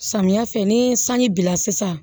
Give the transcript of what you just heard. Samiya fɛ ni sanji bila sisan